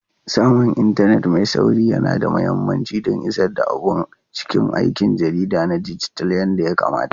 Samun intanet mai sauri yana da mahimmanci don isar da abun cikin aikin jarida na dijital yadda ya kamata.